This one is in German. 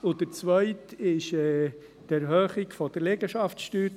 Beim Zweiten geht es um die Erhöhung der Liegenschaftssteuer.